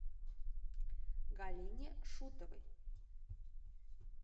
галине шутовой